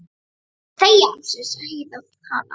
Viltu þegja, sussaði Heiða á hana.